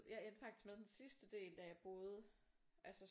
Jeg endte faktisk med den sidste del da jeg boede altså